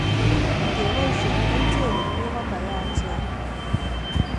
Ingebosien kerichek komie komayachen.